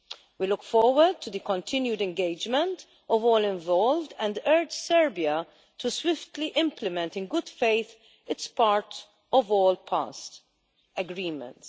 We look forward to the continued engagement of all involved and urge Serbia to swiftly implement in good faith its part of all past agreements.